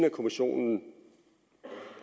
i kommissionen